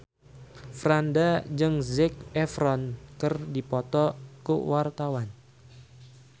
Franda jeung Zac Efron keur dipoto ku wartawan